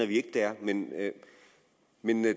de er men